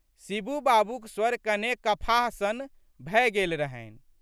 शिबू बाबूक स्वर कने कफाह सन भए गेल रहनि।